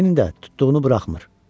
Leni də tutduğunu buraxmır.